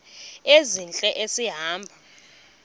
ezintle esi hamba